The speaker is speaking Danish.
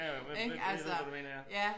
Ja ja hvad ved ved ved hvad du mener ja